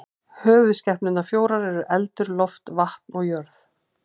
Höfuðskepnurnar fjórar eru eldur, loft, vatn og jörð.